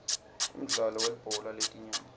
umdlalo welibhola letinyawo